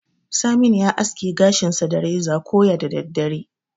Saminu ya aske gashinsa da reza koya da daddare.